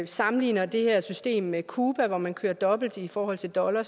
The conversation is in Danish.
sammenligner det her system med cuba hvor man kører dobbelt i forhold til dollar